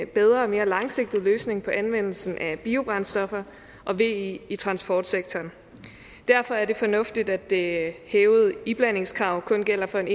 bedre og mere langsigtet løsning på anvendelsen af biobrændstoffer og ve i transportsektoren derfor er det fornuftigt at det hævede iblandingskrav kun gælder for en